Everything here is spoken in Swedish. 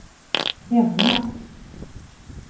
hemma